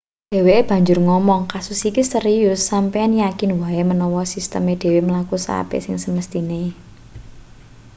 dheweke banjur ngomong kasus iki serius sampeyan yakin wae menawa sisteme dhewe mlaku seapik sing semesthine